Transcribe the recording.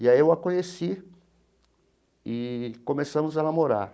E aí eu a conheci e começamos a namorar.